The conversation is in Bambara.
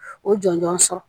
O jɔnjɔn sɔrɔ